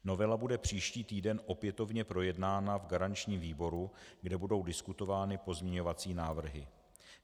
Novela bude příští týden opětovně projednána v garančním výboru, kde budou diskutovány pozměňovací návrhy.